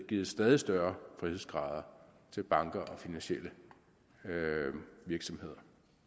givet stadig større frihedsgrader til banker og finansielle virksomheder